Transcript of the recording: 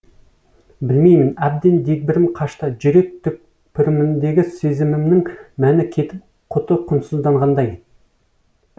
білмеймін әбден дегбірім қашты жүрек түкпірімдегі сезімімнің мәні кетіп құты құнсызданғандай